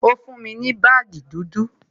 Ó fún mi ní baagi dúdú